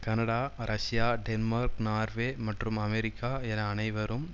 Canada Russia Denmark Norway மற்றும் America என அனைவரும்